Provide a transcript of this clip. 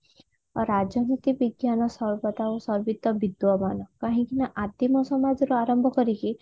ରାଜନୀତି ବିଜ୍ଞାନ ସର୍ବଦା ଓ ସର୍ବତ୍ତ ବିଦ୍ଵମାନ କାହିଁକି ନା ଆଦିମ ସମାଜ ରୁ ଆରମ୍ଭ କରିକି